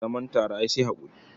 Zaman tare ai sai haƙuri.